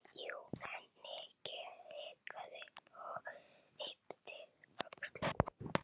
Jú, en. Nikki hikaði og yppti öxlum.